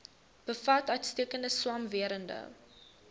bevat uitstekende swamwerende